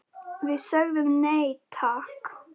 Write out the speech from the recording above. Við sögðum nei, takk!